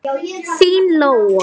Þín Lóa.